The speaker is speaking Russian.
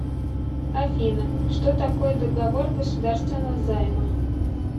афина что такое договор государственного займа